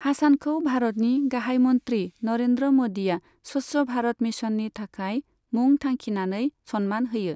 हासानखौ भारतनि गाहाय मन्त्री नरेंद्र म'दीया स्वच्छ भारत मिशननि थाखाय मुं थांखिनानै सन्मान होयो।